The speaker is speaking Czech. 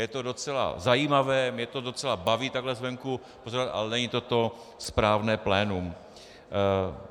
Je to docela zajímavé, mě to docela baví takhle zvenku pozorovat, ale není to to správné plénum.